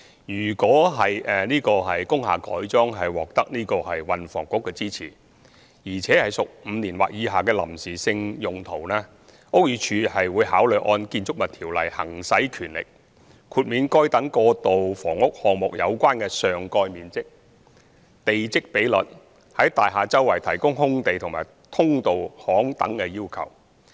如果工廈的改裝獲得運輸及房屋局支持，而且屬5年或以下的臨時性用途，屋宇署會考慮按《建築物條例》行使權力，豁免該等過渡性房屋項目有關的上蓋面積、地積比率，以及在大廈四周提供空地和通道巷等的要求。